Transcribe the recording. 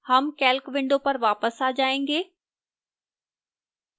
हम calc window पर वापस आ जाएंगे